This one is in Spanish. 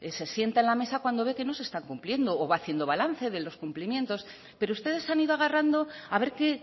pues se sienta en la mesa cuando ve que no se está cumpliendo o va haciendo balance de los cumplimientos pero ustedes se han ido agarrando a ver que